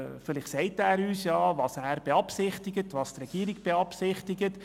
Vielleicht sagt er uns ja, was er beziehungsweise die Regierung zu tun beabsichtigen.